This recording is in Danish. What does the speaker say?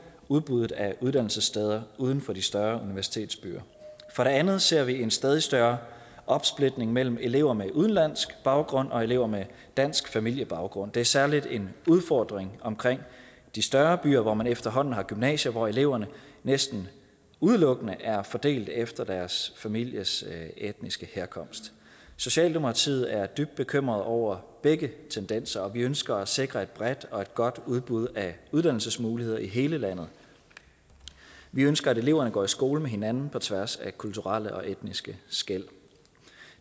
udbuddet af uddannelsessteder uden for de større universitetsbyer for det andet ser vi en stadig større opsplitning mellem elever med udenlandsk baggrund og elever med dansk familiebaggrund det er særligt en udfordring omkring de større byer hvor man efterhånden har gymnasier hvor eleverne næsten udelukkende er fordelt efter deres families etniske herkomst i socialdemokratiet er vi dybt bekymrede over begge tendenser og vi ønsker at sikre et bredt og godt udbud af uddannelsesmuligheder i hele landet vi ønsker at eleverne går i skole med hinanden på tværs af kulturelle og etniske skel